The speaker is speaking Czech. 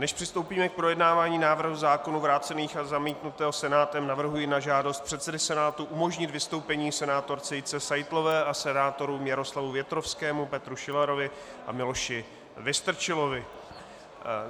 Než přistoupíme k projednávání návrhu zákonů vrácených a zamítnutého Senátem, navrhuji na žádost předsedy Senátu umožnit vystoupení senátorce Jitce Seitlové a senátorům Jaroslavu Větrovskému, Petru Šilarovi a Miloši Vystrčilovi.